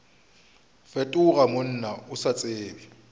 fetoga monna o sa tsebe